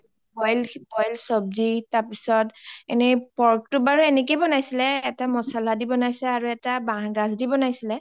boil চবজি তাৰ পিছত. এনে pork টো বাৰু এনেকে বনাইছিলে এটা মচলা আৰু এটা বাহ গাছ দি বনাইছিলে.